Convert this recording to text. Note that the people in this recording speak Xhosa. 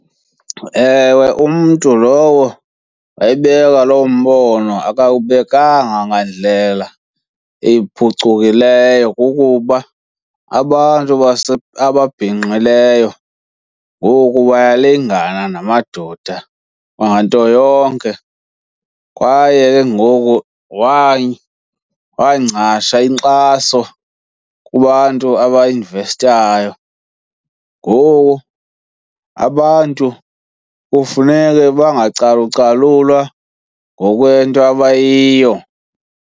Ewe, umntu lowo wayebeka loo mbono akawubekanga ngandlela iphucukileyo kukuba abantu ababhinqileyo ngoku bayalingana namadoda nganto yonke, kwaye ke ngoku waangcasha inkxaso kubantu abainvestayo. Ngoku abantu kufuneke bangacalucalulwa ngokwento abayiyo.